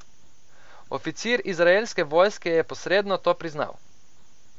Oficir izraelske vojske je posredno to priznal.